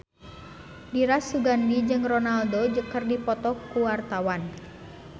Dira Sugandi jeung Ronaldo keur dipoto ku wartawan